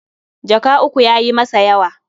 Jaka uku ya yi masa yawa.